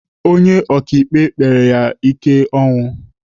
Onye ọkaikpe kpere ya ike ọnwụ.